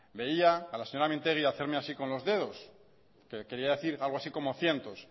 veía a la señora mintegi hacerme así con los dedos que quería hacer algo así como cientos